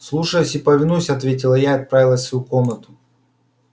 слушаюсь и повинуюсь ответила я и отправилась в свою комнату